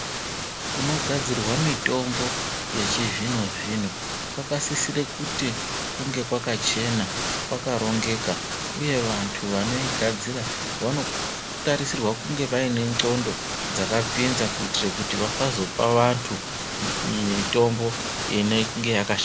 Kunogadzirwa mitombo yechizvino zvino kwakasisira kuti kunge kwakachena kwakaringeka uye vanthu vanoigadzira vanotarisirwa kunge vaine ndxondo dzakapinza kuitira kuti vasazopa vanthu mitombo inenge yakashata.